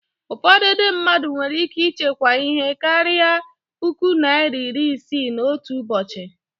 Ụfọdụ Ndị mmadụ nwere ike ịchekwa ihe karịrị puku naịra iri isii n'otu ụbọchị